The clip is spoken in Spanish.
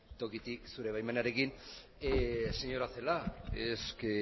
tokitik zure baimenarekin señora celaá es que